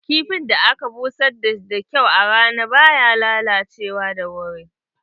Kifin da aka busar da kyau a rana baya lalacewa da wuri.